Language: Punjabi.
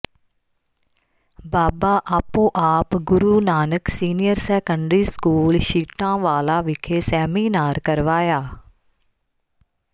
ਬਾਬਾ Aapo Aap Guru Nanak senior secondary school Chhitanwala ਵਿਖੇ ਸੈਮੀਨਾਰ ਕਰਵਾਇਆ